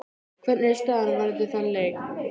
Hvernig er staðan varðandi þann leik?